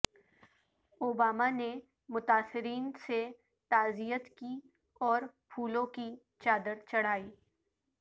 Obama نے متاثرین سے تعزیت کی اور پھولوں کی چادر چڑھائی